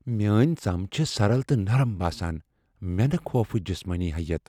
میٲنۍ ژم چھِ سرَل تہٕ نرم باسان ، مینہِ خوفٕچ جِسمٲنی حییت ۔